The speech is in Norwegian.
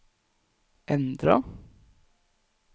endra